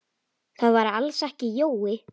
Það væri alls ekki Jói.